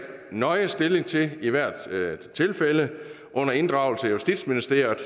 nøje stilling til i hvert tilfælde under inddragelse af justitsministeriet